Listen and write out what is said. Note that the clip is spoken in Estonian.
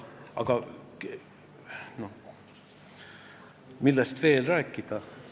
Millest veel rääkida?